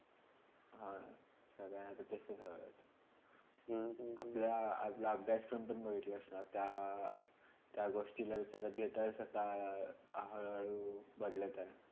हम्म हम्म अपल्या अभ्यासक्रम पण बघितला असता त्या गोष्टीला विचारात घेता असा काय हळू -हळू बदलत आहे.